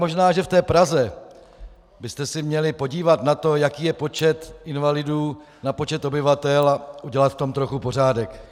Možná že v té Praze byste se měli podívat na to, jaký je počet invalidů na počet obyvatel, a udělat v tom trochu pořádek.